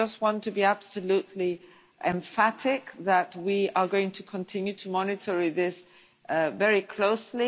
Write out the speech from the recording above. I just want to be absolutely emphatic that we are going to continue to monitor this very closely.